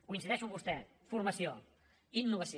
coincideixo amb vostè formació innovació